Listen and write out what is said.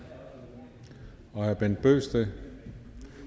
og herre bent bøgsted